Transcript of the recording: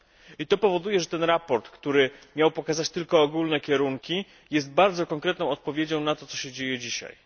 Ito sprawia, że sprawozdanie, które miało pokazać tylko ogólne kierunki, jest bardzo konkretną odpowiedzią na to, co się dzieje dzisiaj.